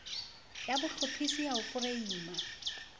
ya bohlophisi ya ho foreima